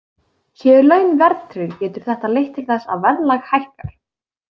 Séu laun verðtryggð getur þetta leitt til þess að verðlag hækkar.